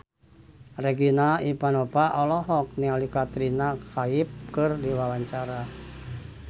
Regina Ivanova olohok ningali Katrina Kaif keur diwawancara